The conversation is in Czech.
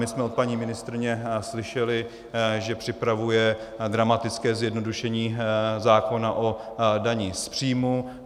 My jsme od paní ministryně slyšeli, že připravuje dramatické zjednodušení zákona o dani z příjmu.